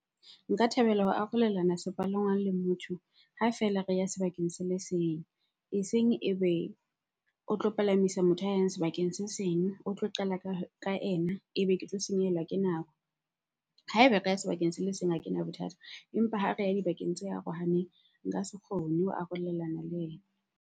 Nka thabela ho arolelana sepalangwang le motho ha feela re ya sebakeng se le seng. Eseng e be o tlo palamisa motho a yang sebakeng se seng, o tlo qala ka ena ebe ke tlo senyehellwa ke nako. Ha eba sebakeng se le seng ha kena bothata empa ha re ya dibakeng tse arohaneng, nka se kgone ho arolelana le yena.